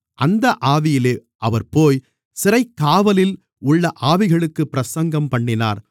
அந்த ஆவியிலே அவர் போய் சிறைக்காவலில் உள்ள ஆவிகளுக்குப் பிரசங்கம்பண்ணினார்